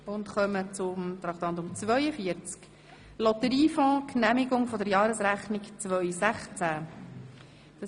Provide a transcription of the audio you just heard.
Wir kommen zum Traktandum 42, dem Geschäft «Lotteriefonds Genehmigung der Jahresrechnung 2016».